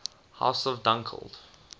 house of dunkeld